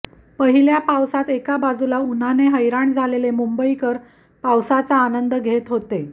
पहिल्या पावसात एका बाजूला उन्हाने हैराण झालेले मुंबईकर पावासाचा आनंद घेत होते